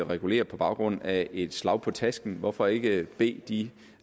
regulere på baggrund af et slag på tasken hvorfor ikke bede de